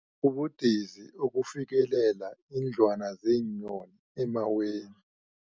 Kubudisi ukufikelela iindlwana zeenyoni emaweni.